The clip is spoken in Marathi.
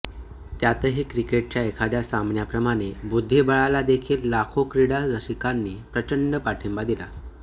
त्यातही क्रिकेटच्या एखाद्या सामन्याप्रमाणे बुद्धिबळाला देखील लाखो क्रीडा रसिकांनी प्रचंड पाठिंबा दिला